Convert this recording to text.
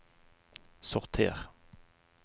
sorter